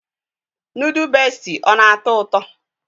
Nudu beesti ọ na-atọ ụtọ?